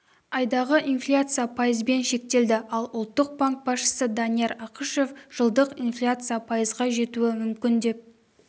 айдағы инфляция пайызбен шектелді ал ұлттық банк басшысы данияр ақышев жылдық инфляция пайызға жетуі мүмкін деп